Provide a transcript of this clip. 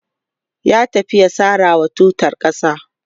ya tafi ya sarawa tutar ƙasa